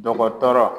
Dɔgɔtɔrɔ